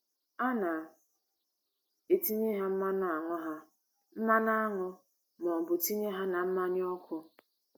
A na - etinye ha mmanụ aṅụ ha mmanụ aṅụ ma ọ bụ tinye ha na mmanya ọkụ.